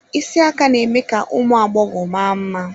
Isi aka na-eme ka ụmụ agbọghọ ma mma.